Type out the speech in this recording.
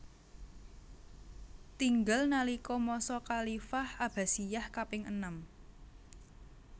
Tinggal nalika masa khalifah Abbasiyah kaping enem